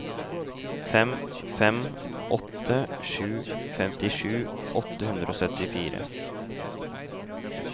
fem fem åtte sju femtisju åtte hundre og syttifire